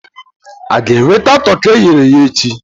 A ga-enweta toki e ghere eghe echi?